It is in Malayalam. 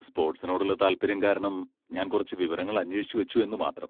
സ്പോർട്സിനോടുള്ള താൽപ്പര്യം കാരണം ഞാൻ കുറച്ച് വിവരങ്ങൾ അന്വേഷിച്ചുവച്ചുവെന്നു മാത്രം..